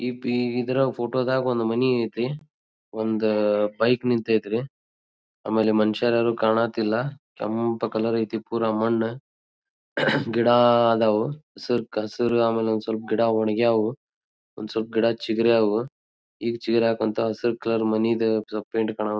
Hippie ಇದ್ರಗ್ photo ದಗ್ ಒಂದ್ ಮನಿ ಐತಿ ಒಂದ್ ಬೈಕ್ ನಿಂತೈತಿ ರೀ ಆಮೇಲೆ ಮನಷ್ಯರು ಯಾರು ಕಾಣತ್ತಿಲ್ಲಾ ಕೆಂಪ ಕಲರ್ ಐತಿ ಪುರ್ ಮಣ್ಣ್ ಗಿಡ ಅದ್ವ್ ಸೂರ್ಕ ಹಸೀರ್ ಆಮೇಲೆ ಗಿಡ ವಂಗ್ಯವ್ ಒಂದ್ ಸಪ್ ಗಿಡ ಚೀಗ್ರ್ಯಾವ್ ಈ ಚಿರಕಂತ ಹಸೀರ್ ಕಲರ್ ಮನಿದ ಸಪ್ ಪೈಂಟ್ ಕಾಣವ್.